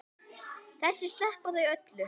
Þessu sleppa þau öllu.